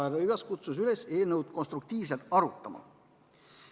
Rõivas kutsus üles eelnõu konstruktiivselt arutama.